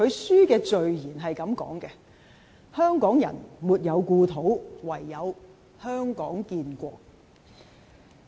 書的序言是這樣說的，"香港人沒有故土，唯有香港建國"。